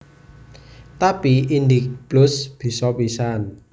Tapi IndicPlus bisa pisan